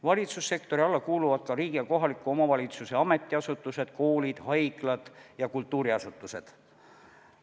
Valitsussektori alla kuuluvad ka riigi ja kohaliku omavalitsuse ametiasutused, koolid, haiglad ja kultuuriasutused.